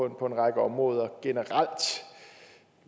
en række områder generelt